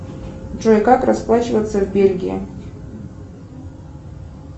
джой как расплачиваться в бельгии